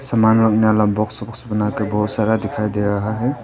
सामान रखने वाला बॉक्स ओक्स बना कर बहोत सारा दिखाई दे रहा है।